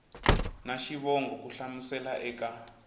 na xivongo ku hlamusela eka